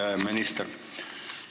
Hea minister!